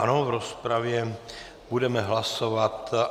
Ano, v rozpravě budeme hlasovat.